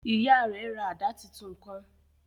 Ìyá rẹ rà àdá títún kàn